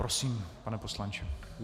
Prosím, pane poslanče.